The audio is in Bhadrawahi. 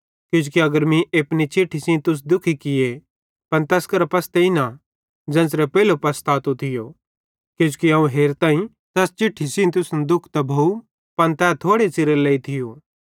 किजोकि अगर मीं एपनी चिट्ठी सेइं तुस दुखी किये पन तैस करां पसतेईं न ज़ेन्च़रे पेइलो पसतातो थियो किजोकि अवं हेरताईं तैस चिट्ठी सेइं तुसन दुःख त भोव पन तै थोड़े च़िरेरे लेइ थियो